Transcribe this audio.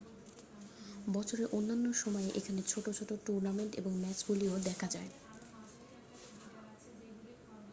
বছরের অন্যান্য সময়ে এখানে ছোট ছোট টুর্নামেন্ট এবং ম্যাচগুলিও দেখা যায়